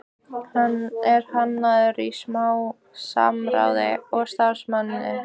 Hann er hannaður í samráði við starfsmenn